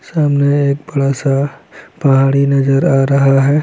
सामने एक बड़ा सा पहाड़ी नज़र आ रहा है।